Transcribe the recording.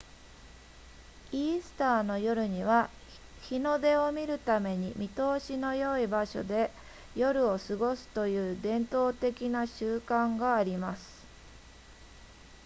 イースターの夜には日の出を見るために見通しの良い場所で夜を過ごすという伝統的な習慣があります